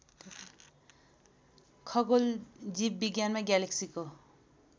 खगोल जीवविज्ञानमा ग्यालेक्सीको